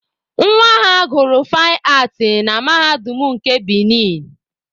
Nwa ha gụrụ faịn aatị na Mahadum nke Benin